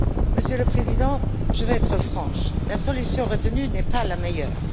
Monsieur le Président, je vais être franche, la solution retenue n'est pas la meilleure.